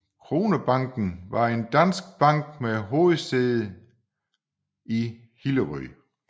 Kronebanken var en dansk bank med hovedsæde i Hillerød